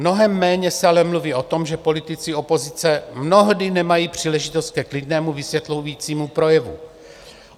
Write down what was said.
Mnohem méně se ale mluví o tom, že politici opozice mnohdy nemají příležitost ke klidnému vysvětlující projevu.